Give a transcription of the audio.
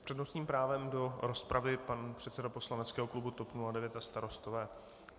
S přednostním právem do rozpravy pan předseda poslaneckého klubu TOP 09 a Starostové.